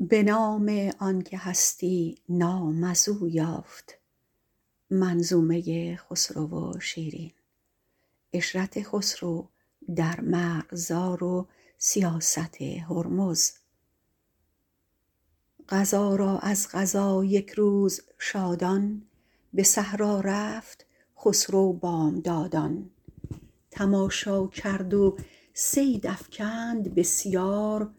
قضا را از قضا یک روز شادان به صحرا رفت خسرو بامدادان تماشا کرد و صید افکند بسیار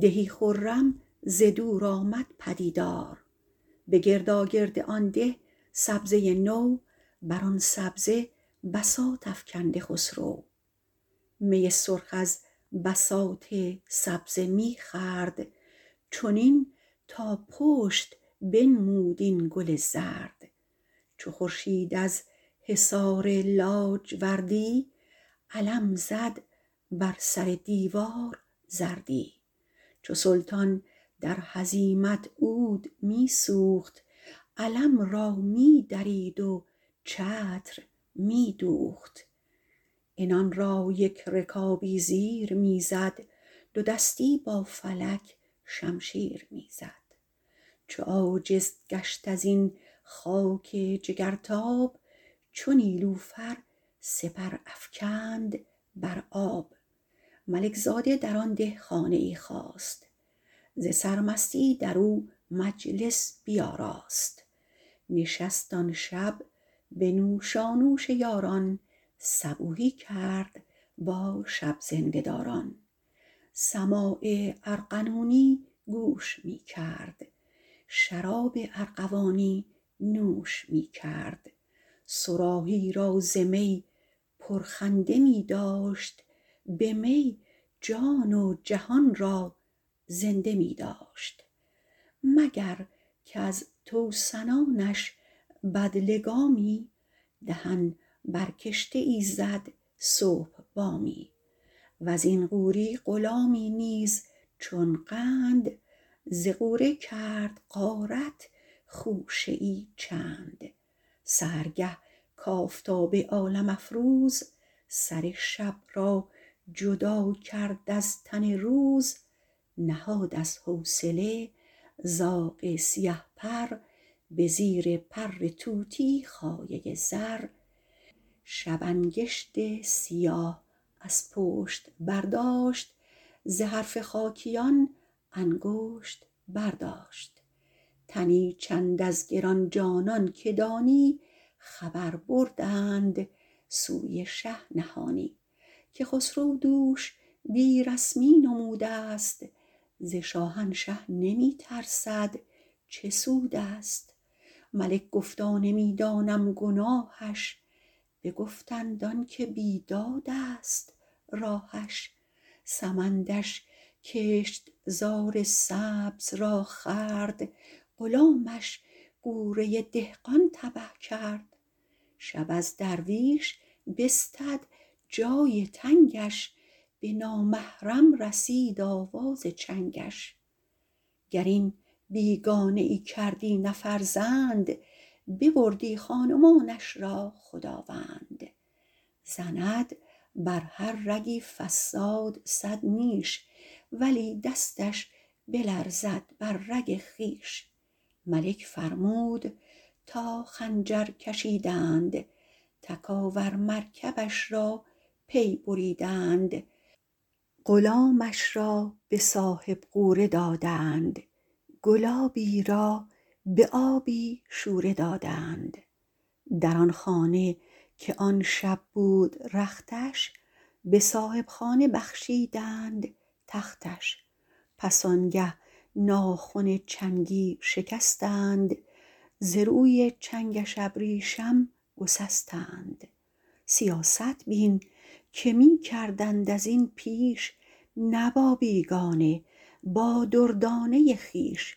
دهی خرم ز دور آمد پدیدار به گرداگرد آن ده سبزه نو بر آن سبزه بساط افکنده خسرو می سرخ از بساط سبزه می خورد چنین تا پشت بنمود این گل زرد چو خورشید از حصار لاجوردی علم زد بر سر دیوار زردی چو سلطان در هزیمت عود می سوخت علم را می درید و چتر می دوخت عنان یک رکابی زیر می زد دو دستی با فلک شمشیر می زد چو عاجز گشت ازین خاک جگرتاب چو نیلوفر سپر افکند بر آب ملک زاده در آن ده خانه ای خواست ز سرمستی در او مجلس بیاراست نشست آن شب به نوشانوش یاران صبوحی کرد با شب زنده داران سماع ارغنونی گوش می کرد شراب ارغوانی نوش می کرد صراحی را ز می پرخنده می داشت به می جان و جهان را زنده می داشت مگر کز توسنانش بدلگامی دهن بر کشته ای زد صبح بامی وز این غوری غلامی نیز چون قند ز غوره کرد غارت خوشه ای چند سحرگه کآفتاب عالم افروز سر شب را جدا کرد از تن روز نهاد از حوصله زاغ سیه پر به زیر پر طوطی خایه زر شب انگشت سیاه از پشت برداشت ز حرف خاکیان انگشت برداشت تنی چند از گران جانان که دانی خبر بردند سوی شه نهانی که خسرو دوش بی رسمی نمود است ز شاهنشه نمی ترسد چه سود است ملک گفتا نمی دانم گناهش بگفتند آن که بیداد است راهش سمندش کشت زار سبز را خورد غلامش غوره دهقان تبه کرد شب از درویش بستد جای تنگش به نامحرم رسید آواز چنگش گر این بیگانه ای کردی نه فرزند ببردی خان و مانش را خداوند زند بر هر رگی فصاد صد نیش ولی دستش بلرزد بر رگ خویش ملک فرمود تا خنجر کشیدند تکاور مرکبش را پی بریدند غلامش را به صاحب غوره دادند گلابی را به آبی شوره دادند در آن خانه که آن شب بود رختش به صاحب خانه بخشیدند تختش پس آن گه ناخن چنگی شکستند ز روی چنگش ابریشم گسستند سیاست بین که می کردند ازین پیش نه با بیگانه با دردانه خویش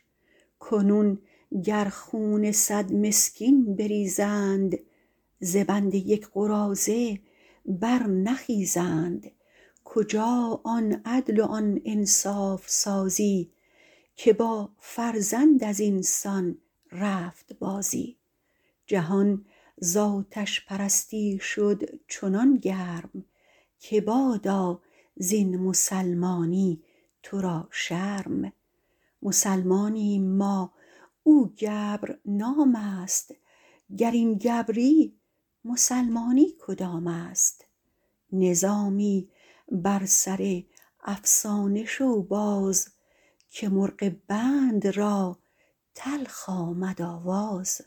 کنون گر خون صد مسکین بریزند ز بند یک قراضه برنخیزند کجا آن عدل و آن انصاف سازی که با فرزند از این سان رفت بازی جهان ز آتش پرستی شد چنان گرم که بادا زین مسلمانی تو را شرم مسلمانیم ما او گبر نام است گر این گبری مسلمانی کدام است نظامی بر سر افسانه شو باز که مرغ بند را تلخ آمد آواز